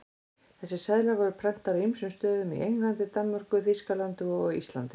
Þessir seðlar voru prentaðir á ýmsum stöðum, í Englandi, Danmörku, Þýskalandi og á Íslandi.